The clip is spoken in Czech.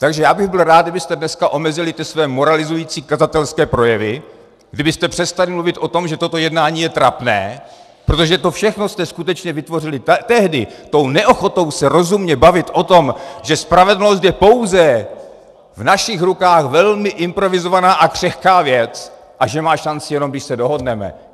Takže já bych byl rád, kdybyste dneska omezili ty své moralizující kazatelské projevy, kdybyste přestali mluvit o tom, že toto jednání je trapné, protože to všechno jste skutečně vytvořili tehdy, tou neochotou se rozumně bavit o tom, že spravedlnost je pouze v našich rukách velmi improvizovaná a křehká věc a že má šanci jenom, když se dohodneme.